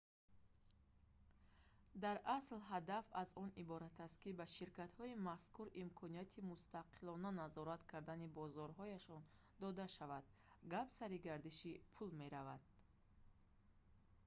дар асл ҳадаф аз он иборат аст ки ба ширкатҳои мазкур имконияти мустақилона назорат кардани бозорҳояшон дода шавад гап сари гардиши пул меравад